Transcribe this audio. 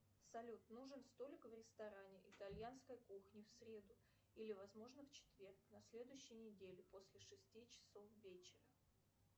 салют нужен столик в ресторане итальянской кухни в среду или возможно в четверг на следующей неделе после шести часов вечера